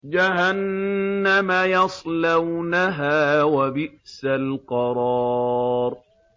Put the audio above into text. جَهَنَّمَ يَصْلَوْنَهَا ۖ وَبِئْسَ الْقَرَارُ